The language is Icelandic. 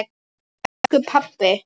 Elsku pabbi.